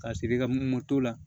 Ka siri ka moto la